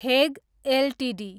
Hague Ltd